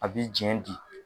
A bɛ jɛn di